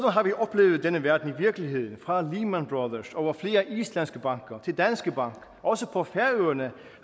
har vi oplevet denne verden i virkeligheden fra lehman brothers over flere islandske banker til danske bank og også på færøerne